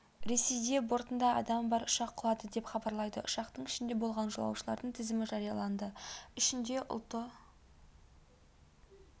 ресейде бортында адамы бар ұшақ құлады деп хабарлайды ұшақтың ішінде болған жолаушылардың тізімі жарияланды ішінде ұлты